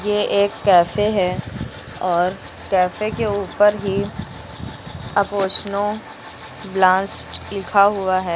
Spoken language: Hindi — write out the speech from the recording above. ये एक कैफे है और कैफे के ऊपर ही अपुचिनो ब्लास्ट लिखा हुआ है।